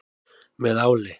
Með áli.